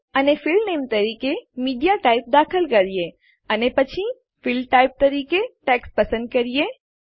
અને field name ક્ષેત્ર નામ તરીકે મીડિયાટાઇપ દાખલ કરીએ અને પછી ફીલ્ડ ટાઈપ તરીકે ટેક્સ્ટ પસંદ કરીએ